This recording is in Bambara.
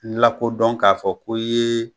N lakodɔn k'a fɔ ko i ye